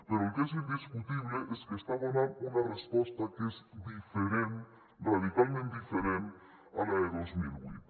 però el que és indiscutible és que està donant una resposta que és diferent radicalment diferent a la de dos mil vuit